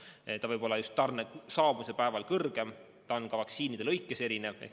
See näitaja võib olla just tarne saabumise päeval kõrgem ja see on ka vaktsiinide lõikes erinev.